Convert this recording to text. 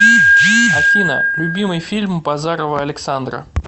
афина любимый фильм базарова александра